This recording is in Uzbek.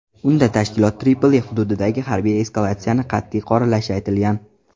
Unda tashkilot Tripoli hududidagi harbiy eskalatsiyani qat’iy qoralashi aytilgan.